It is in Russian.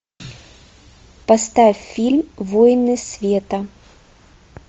поставь фильм воины света